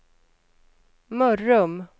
Mörrum